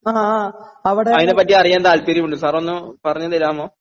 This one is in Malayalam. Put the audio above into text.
അയിനെപ്പറ്റി അറിയാൻ താല്പര്യമുണ്ട് സാർ ഒന്ന് പറഞ്ഞു തരാമോ?